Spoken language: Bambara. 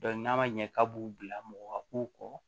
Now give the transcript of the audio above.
n'a ma ɲɛ k'a b'u bila mɔgɔ ka k'u kɔ